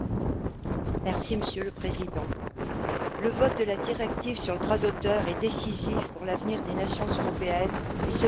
Monsieur le Président, le vote de la directive sur le droit d'auteur est décisif pour l'avenir des nations européennes, et ce pour trois raisons.